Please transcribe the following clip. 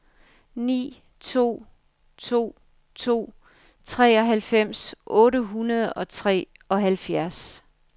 ni to to to treoghalvfems otte hundrede og treoghalvfjerds